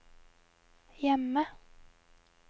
hjemme